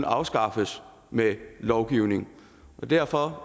afskaffes med lovgivning derfor